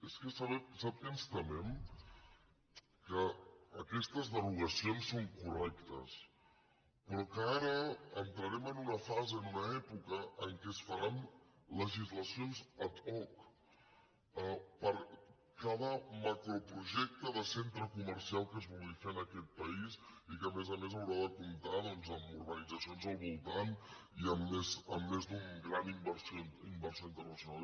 és que sap què ens temem que aquestes derogacions són correctes però que ara entraren en una fase en una època en què es faran le·gislacions ad hoc per cada macroprojecte de centre co·mercial que es vulgui fer en aquest país i que a més a més haurà de comptar amb urbanitzacions al voltant i amb més d’un gran inversor internacional